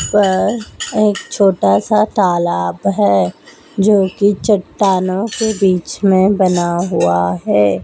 पर एक छोटा सा तालाब है जो कि चट्टानों के बीच में बना हुआ है।